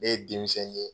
Ne ye denmisɛn ye